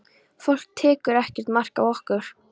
Fólk tekur ekkert mark á okkur.